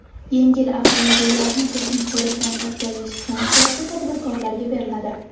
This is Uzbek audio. Yengil avtomobillarni texnik ko‘rikdan o‘tkazish funksiyasi tadbirkorlarga beriladi.